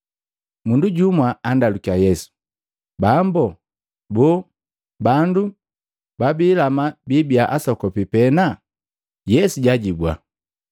Mundu jumwa andalukiya Yesu, “Bambo, boo, bandu babiilama biibia asokopi pena?” Yesu jajibua,